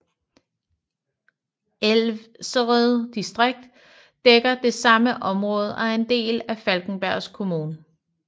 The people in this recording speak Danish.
Ælvsered distrikt dækker det samme område og er en del af Falkenbergs kommun